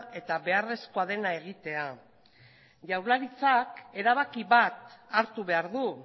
eta beharrezkoa dena egitea jaurlaritzak erabaki bat hartu behar du